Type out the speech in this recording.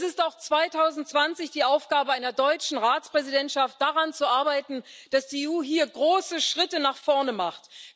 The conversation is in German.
Das ist auch 2020 die Aufgabe einer deutschen Ratspräsidentschaft, daran zu arbeiten, dass die EU hier große Schritte nach vorne macht.